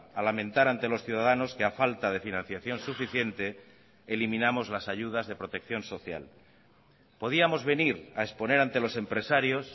a lamentar ante los ciudadanos que a falta de financiación suficiente eliminamos las ayudas de protección social podíamos venir a exponer ante los empresarios